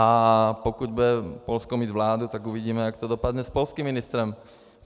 A pokud bude mít Polsko vládu, tak uvidíme, jak to dopadne s polským ministrem.